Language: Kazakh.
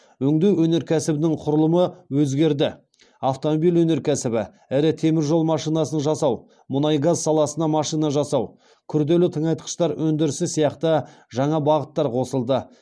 өңдеу өнеркәсібінің құрылымы өзгерді автомобиль өнеркәсібі ірі темір жол машинасын жасау мұнай газ саласына машина жасау күрделі тыңайтқыштар өндірісі сияқты жаңа бағыттар қосылды